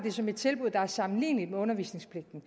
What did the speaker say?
som et tilbud der er sammenligneligt med undervisningspligten